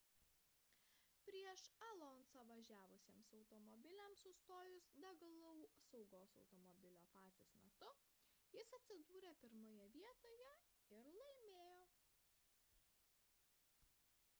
prieš alonso'ą važiavusiems automobiliams sustojus degalų saugos automobilio fazės metu jis atsidūrė pirmoje vietoje ir laimėjo